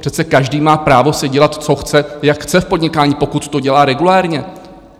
Přece každý má právo si dělat, co chce, jak chce v podnikání, pokud to dělá regulérně.